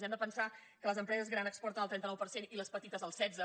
hem de pensar que les empreses grans exporten el trenta nou per cent i les petites el setze